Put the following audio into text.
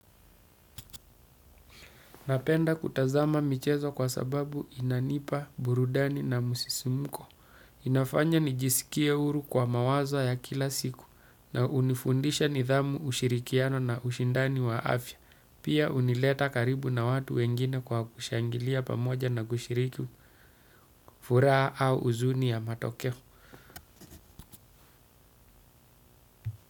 Napenda kutazama michezo kwa sababu inanipa burudani na msisimko. Inafanya nijisikie huru kwa mawazo ya kila siku na hunifundisha nidhamu ushirikiano na ushindani wa afya. Pia hunileta karibu na watu wengine kwa kushangilia pamoja na kushiriki furaha au huzuni ya matokeo.